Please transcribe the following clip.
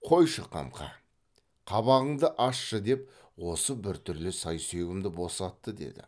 қойшы қамқа қабағыңды ашшы деп осы бір түрлі сай сүйегімді босатты деді